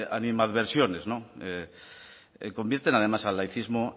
animadversiones convierten además al laicismo